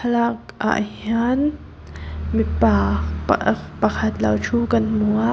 thlalak ah hian mipa pa ah pakhat lo thu kan hmu a.